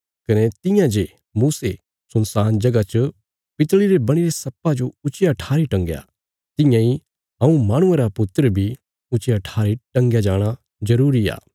कने तियां जे मूसे सुनसान जगह च पितल़ी रे बणीरे सर्पा जो ऊच्चिया ठारी टंगाया तियां इ मेरा यनि माहणुये रे पुत्रा रा ऊच्चिया ठारी टंगया जाणा बी जरूरी आ